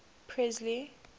presley